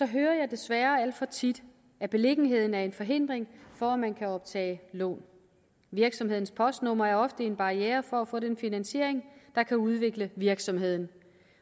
hører jeg desværre alt for tit at beliggenheden er en forhindring for at optage lån virksomhedens postnummer er ofte en barriere for at få den finansiering der kan udvikle virksomheden